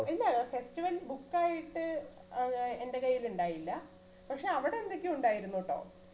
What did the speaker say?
ഇല്ല festival book ആയിട്ട് ഏർ എന്റെ കയ്യിൽ ഉണ്ടായില്ല പക്ഷെ അവിടെ എന്തൊക്കെയോ ഉണ്ടായിരുന്നുട്ടോ